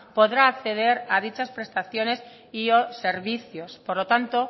podrá acceder a dichas prestaciones y o servicios por lo tanto